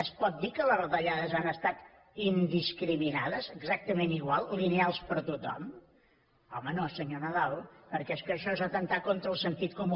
es pot dir que les retallades han estat indiscriminades exactament igual lineals per a tothom home no senyor nadal perquè és que això és atemptar contra el sentit comú